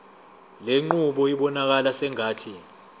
lenqubo ibonakala sengathi